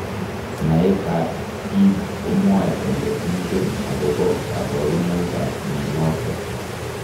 Naet ab bik komwae kole ingen akobo kaburunoik ab mnyenotok.